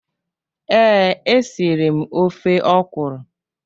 Ee, e siri m ofe okwụrụ.